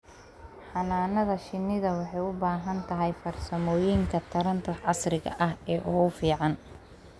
Xannaanada shinnidu waxay u baahan tahay farsamooyinka taranta casriga ah ee ugu fiican.